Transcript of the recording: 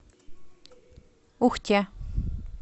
ухте